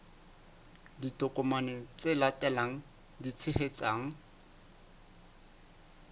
ditokomane tse latelang tse tshehetsang